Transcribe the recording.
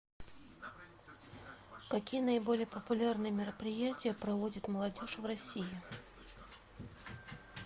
какие наиболее популярные мероприятия проводит молодежь в россии